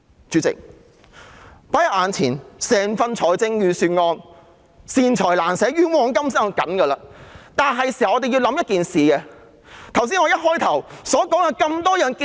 主席，放在眼前的整份預算案固然是"善財難捨，冤枉甘心"，但我們是時候想想一件事。